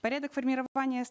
порядок формирования